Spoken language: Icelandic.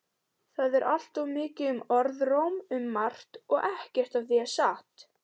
Það er alltaf mikið um orðróm um margt og ekkert af því er satt.